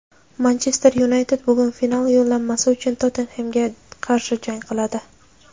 "Manchester Yunayted" bugun final yo‘llanmasi uchun "Tottenhem"ga qarshi jang qiladi.